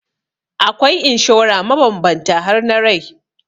Akwai inshora mabambanta har na rai.